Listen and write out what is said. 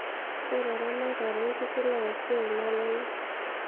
ore eramatare oonkishu naa esiai nalelek